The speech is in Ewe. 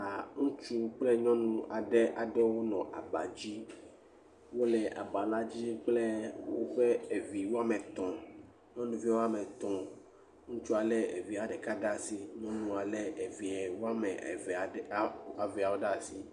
A Ŋutsu kple nyɔnu ade ade ɖe wonɔ aba dzi. Wole aba la dzi kple woƒe evi woame etɔ̃. nyɔnuvia woame etɔ̃. Ŋutsua le evia ɖeka ɖe asi. Nyɔnua le via wɔame vea ɖe asi.